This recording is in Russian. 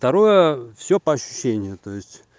второе всё по ощущению то есть